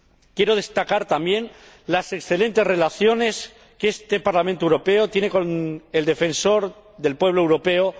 Quiero destacar también las excelentes relaciones que este Parlamento Europeo tiene con el Defensor del Pueblo Europeo.